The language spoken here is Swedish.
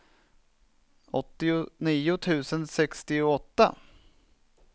åttionio tusen sextioåtta